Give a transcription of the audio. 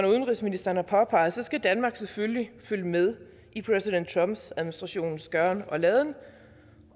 udenrigsministeren har påpeget skal danmark selvfølgelig følge med i præsident trumps administrations gøren og laden